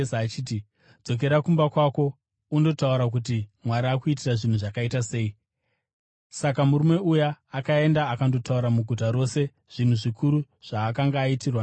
“Dzokera kumba kwako undotaura kuti Mwari akuitira zvinhu zvakaita sei.” Saka murume uyu akaenda akandotaura muguta rose zvinhu zvikuru zvaakanga aitirwa naJesu.